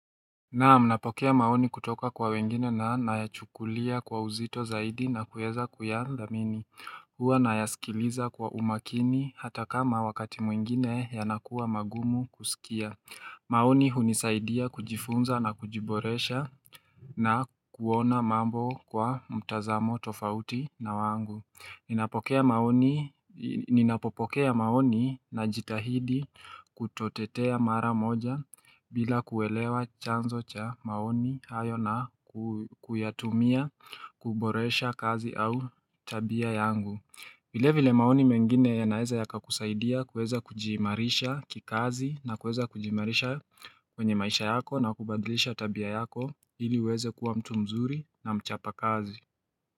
Naam, napokea maoni kutoka kwa wengine na nayachukulia kwa uzito zaidi na kueza kuyadhamini. Huwa nayasikiliza kwa umakini hata kama wakati mwingine yanakuwa magumu kusikia. Maoni hunisaidia kujifunza na kujiboresha na kuona mambo kwa mtazamo tofauti na wangu. Ninapokea maoni Ninapopokea maoni najitahidi kutotetea mara moja bila kuelewa chanzo cha maoni hayo na kuyatumia kuboresha kazi au tabia yangu. Vile vile maoni mengine yanaeza yakakusaidia kueza kujimarisha kikazi na kueza kujimarisha kwenye maisha yako na kubadilisha tabia yako ili uweze kuwa mtu mzuri na mchapa kazi.